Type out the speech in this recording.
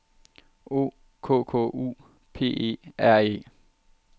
O K K U P E R E